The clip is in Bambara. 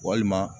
Walima